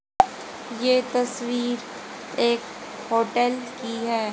ये तस्वीर एक होटल की है।